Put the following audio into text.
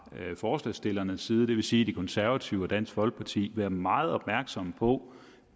forslagsstillernes side det vil sige de konservative og dansk folkeparti være meget opmærksomme på